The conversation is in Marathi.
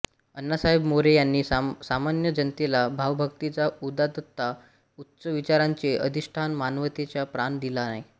अण्णासाहेब मोरे यांनी सामान्य जनतेला भावभक्तीचा उदात्तता उच्च विचारांचे अधिष्ठान मानवतेचा प्राण दिला आहे